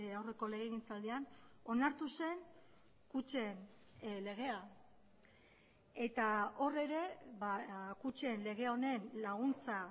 aurreko legegintzaldian onartu zen kutxen legea eta hor ere kutxen lege honen laguntza